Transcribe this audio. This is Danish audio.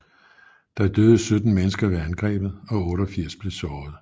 Der døde 17 mennesker ved angrebet og 88 blev såret